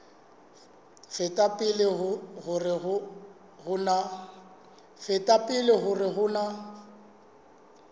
feta pele hore ho na